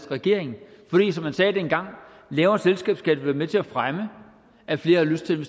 regering fordi som man sagde dengang lavere selskabsskatter vil være med til at fremme at flere har lyst til at